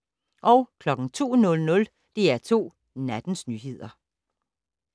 02:00: DR2 Nattens nyheder